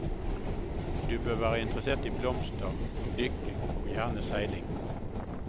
Du bør være interessert i blomster, dykking og gjerne seiling.